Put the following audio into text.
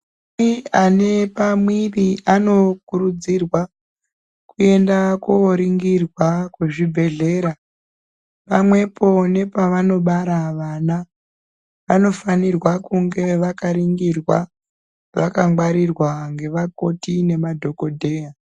Madzimai ane pamwiri anokurudzirwa kuenda koningirwa kuzvibhedhlera pamwepo nepavanobara vana vanofanira kunge vakaningirwa vakangwarirwa nevakoti nemadhokoteya.